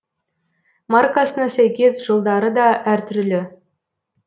маркасына сәйкес жылдары да әр түрлі